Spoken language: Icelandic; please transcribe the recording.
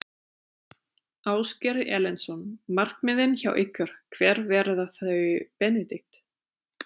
Ásgeir Erlendsson: Markmiðin hjá ykkur, hver verða þau Benedikt?